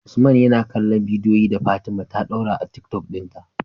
usman yana kallon bidiyon da fatima ta dora a tiktok din ta